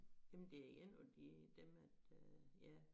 Jamen er én af de dem at øh ja